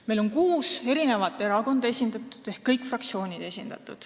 Meil on seal esindatud kuus erakonda ehk kõik fraktsioonid.